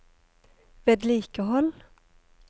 vedlikehold